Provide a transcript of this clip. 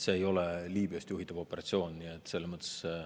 See ei ole Liibüast juhitav operatsioon.